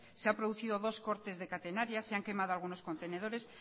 se ha producido dos cortes de catenaria se han quemado algunos contenedores